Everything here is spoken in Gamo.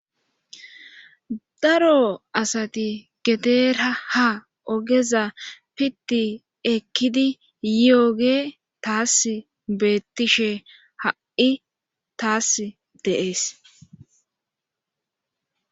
daro asati gedera ha ogeza pitti ekkidi yiyoge taas beettishe ha7i taas de7ees.